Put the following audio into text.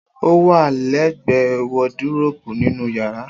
O wà lẹ gbẹ wòdíròpù ninu yàrá.